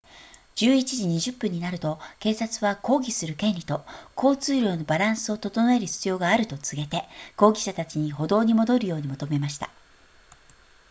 11時20分になると警察は抗議する権利と交通量のバランスを弁える必要があると告げて抗議者たちに歩道に戻るように求めました